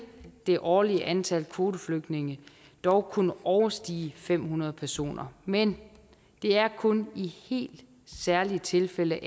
det årlige antal kvoteflygtninge dog kunne overstige fem hundrede personer men det er kun i helt særlige tilfælde